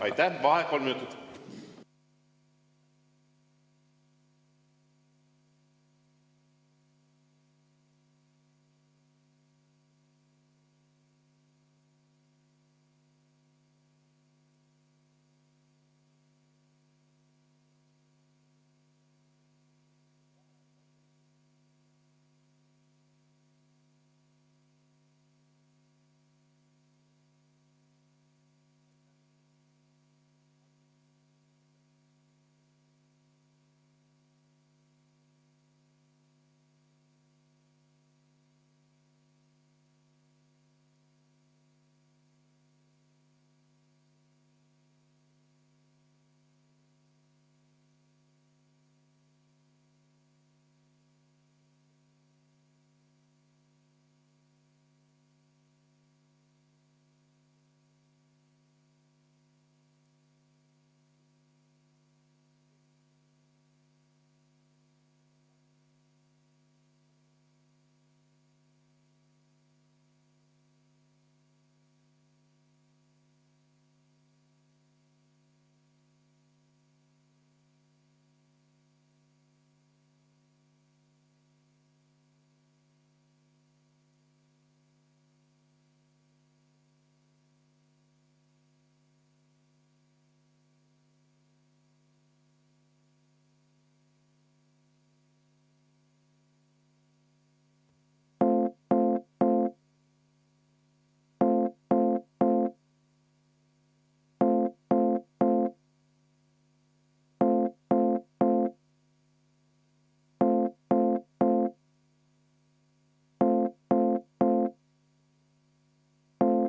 Aitäh!